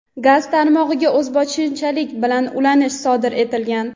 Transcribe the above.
gaz tarmog‘iga o‘zboshimchalik bilan ulanish sodir etilgan.